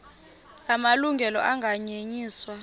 la malungelo anganyenyiswa